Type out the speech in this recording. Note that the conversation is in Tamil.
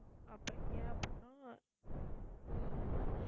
அப்ப ஏன் அப்படின்னா, வந்து